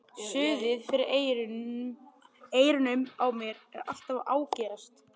Suðið fyrir eyrunum á mér er alltaf að ágerast.